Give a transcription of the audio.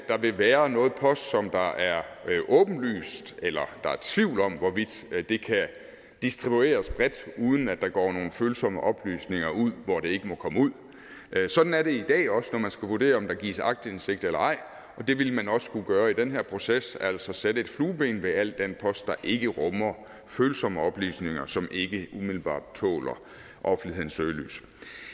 vil være noget post som der er tvivl om hvorvidt kan distribueres bredt uden at der går nogen følsomme oplysninger ud hvor det ikke må komme ud sådan er det i dag også når man skal vurdere om der gives aktindsigt eller ej og det ville man også skulle gøre i den her proces altså sætte et flueben ved al den post der ikke rummer følsomme oplysninger som ikke umiddelbart tåler offentlighedens søgelys